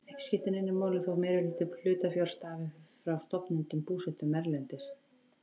Ekki skiptir neinu máli þótt meirihluti hlutafjár stafi frá stofnendum búsettum erlendis.